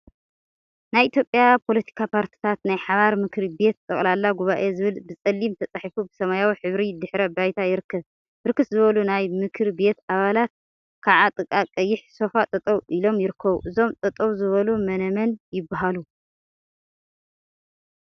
ናይ ኢትዮጵያ ፓለቲካ ፓርቲታት ናይ ሓባር ምክሪ ቤት ጠቅላላ ጉባኤ ዝብል ብፀሊም ተፃሒፉ ብሰማያዊ ሕብሪ ድሕረ ባይታ ይርከብ፡፡ ብርክት ዝበሉ ናይ ምክሪ ቤት አባላት ከዓ ጥቃ ቀይሕ ሶፋ ጠጠው ኢሎም ይርከቡ፡፡ እዞም ጠጠውዝበሉ መነመን ይበሃሉ?